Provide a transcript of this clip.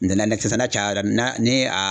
N dɛ nɛ n'a cayara na ni a